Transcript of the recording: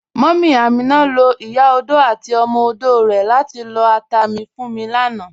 Múmí Amina ló̩ ìyá ọdò àti ọmọ ọdò rè̩ látí lọ́ àtà mi fún mi lànà.